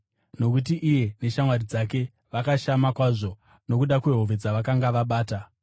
Nokuti iye neshamwari dzake vakashama kwazvo nokuda kwehove dzavakanga vabata,